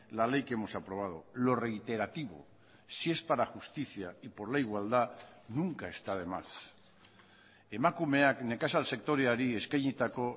la ley que hemos aprobado lo reiterativo si es para justicia y por la igualdad nunca está de más emakumeak nekazal sektoreari eskainitako